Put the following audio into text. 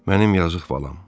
Mənim yazıq balam.